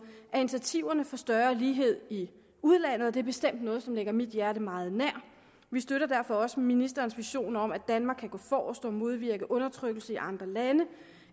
er initiativerne for større lighed i udlandet og det er bestemt noget som ligger mit hjerte meget nær vi støtter derfor også ministerens vision om at danmark kan gå forrest og modvirke undertrykkelse i andre lande